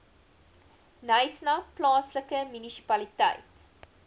knysna plaaslike munisipaliteit